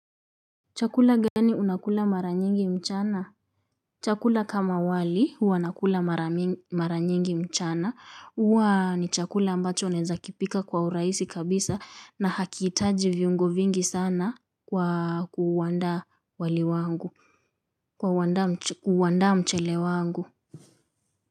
Chakula gani unakula mara nyingi mchana? Chakula kama wali huwa nakula mara nyingi mchana. Huwa ni chakula ambacho naeza kipika kwa urahisi kabisa na hakihitaji viungo vingi sana kwa kuuandaa mchele wangu.